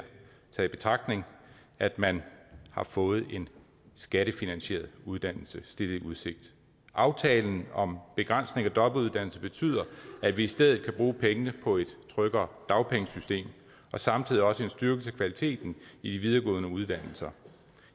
taget i betragtning at man har fået en skattefinansieret uddannelse aftalen om begrænsning af dobbeltuddannelse betyder at vi i stedet kan bruge pengene på et tryggere dagpengesystem og samtidig også styrke kvaliteten i de videregående uddannelser